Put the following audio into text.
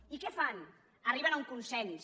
i què fan arriben a un consens